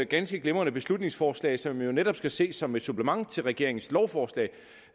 ganske glimrende beslutningsforslag som netop skal ses som et supplement til regeringens lovforslag